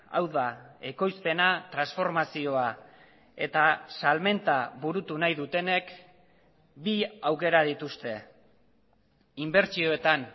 hau da ekoizpena transformazioa eta salmenta burutu nahi dutenek bi aukera dituzte inbertsioetan